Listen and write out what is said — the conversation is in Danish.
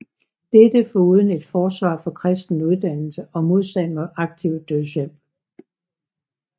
Dette foruden et forsvar for kristen uddannelse og modstand mod aktiv dødshjælp